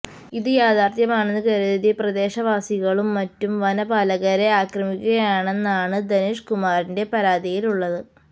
ഇത് യാഥാർത്ഥ്യമാണെന്ന് കരുതി പ്രദേശവാസികളും മറ്റും വനപാലകരെ ആക്രമിക്കുകയാണെന്നാണ് ധനേഷ്കുമാറിന്റെ പരാതിയിലുള്ളത്